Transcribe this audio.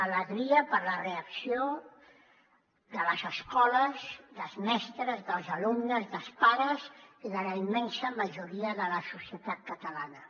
alegria per la reacció de les escoles dels mestres dels alumnes dels pares i de la immensa majoria de la societat catalana